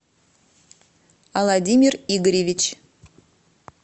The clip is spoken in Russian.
владимир игоревич